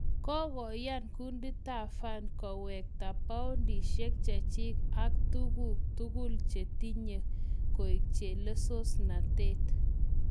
Kagoyan kundit ab FARC kowekta pundukishiek chechik ak tuguk tugul chetinye keiak chelesosnatet.